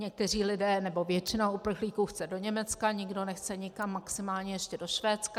Někteří lidé, nebo většina uprchlíků chce do Německa, někdo nechce nikam, maximálně ještě do Švédska.